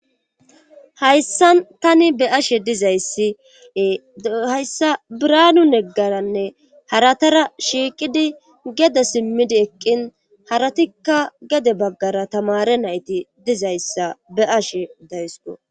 Hayssa tani be ashe dizayssie hayssa biraanu neggaranne haratara shiiqidi geda simmidi eqqin haratikka gede baggara tamare nayti dizayssa be ashe daysqo.